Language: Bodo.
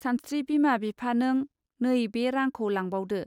सानस्त्रि बिमा बिफानों नै बे रांखौ लांबावदो